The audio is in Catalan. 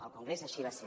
al congrés així va ser